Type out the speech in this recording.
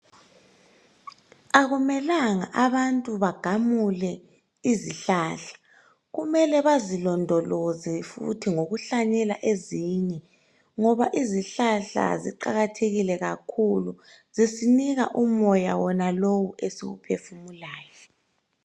Akumelanga abantu bagamule izihlahla , kumele bazilondoloze futhi ngokuhlanyela ezinye ngoba izihlahla ziqakathekile kakhulu zisinika umoya wonalowu esiwuphefumulayo.